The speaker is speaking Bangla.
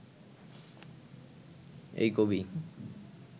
এই কবি